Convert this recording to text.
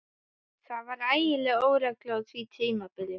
Það var ægileg óregla á því tímabili.